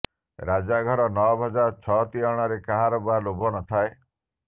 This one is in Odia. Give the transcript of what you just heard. ରାଜାଘର ନଅ ଭଜା ଛଅ ତିଅଣରେ କାହାର ବା ଲୋଭ ନଥାଏ